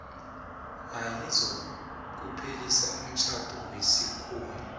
ayizokuphelisa umtjhado wesikhuwa